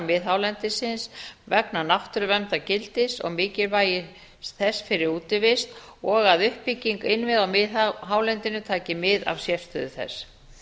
miðhálendisins vegna náttúruverndargildis og mikilvægis þess fyrir útivist og að uppbygging innviða á miðhálendinu taki mið af sérstöðu þess